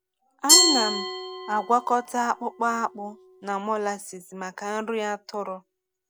Ana m agwakọta akpụkpọ akpụ na molasses maka nri atụrụ.